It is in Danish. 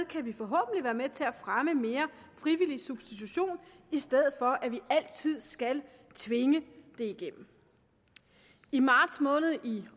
kan vi forhåbentlig være med til at fremme mere frivillig substitution i stedet for at vi altid skal tvinge det igennem i marts måned i